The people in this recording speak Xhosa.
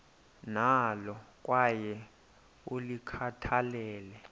nalo kwaye ulikhathalele